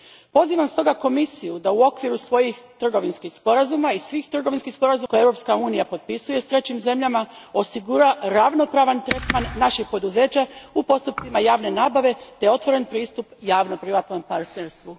Pozivam stoga Komisiju da u okviru svih trgovinskih sporazuma koje Europska unija potpisuje s trećim zemljama osigura ravnopravan tretman naših poduzeća u postupcima javne nabave te otvoren pristup javno privatnom partnerstvu.